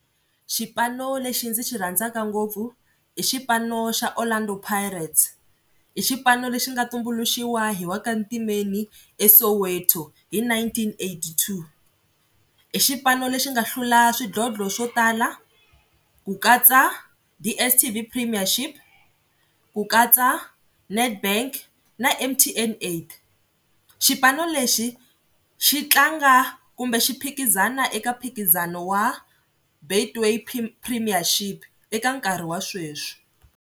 Xipano lexi ndzi xi rhandzaka ngopfu i xipano xa Orlando Pirates, i xipano lexi nga tumbuluxiwa hi wa ka Ntimeni eSoweto hi nineteen eighty-two. I xipano lexi nga hlula swidlodlo swo tala ku katsa DSTV premiership, ku katsa Netbank na M_T_N eight, xipano lexi xi tlanga kumbe xi phikizana eka mphikizano wa Betway premiership eka nkarhi wa sweswi.